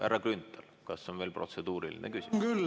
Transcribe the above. Härra Grünthal, kas on veel protseduuriline küsimus?